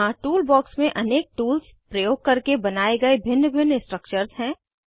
यहाँ tool box में अनेक टूल्स प्रयोग करके बनाये गए भिन्न भिन्न स्ट्रक्चर्स हैं